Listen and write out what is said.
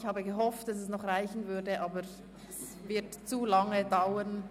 Ich habe gehofft, dass es noch zur Abstimmung reicht, aber es würde dafür zu lange dauern.